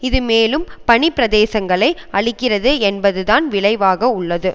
இது மேலும் பனிப்பிரதேசங்களை அழிக்கிறது என்பது தான் விளைவாக உள்ளது